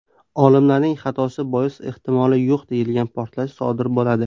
Olimlarning xatosi bois ehtimoli yo‘q deyilgan portlash sodir bo‘ladi.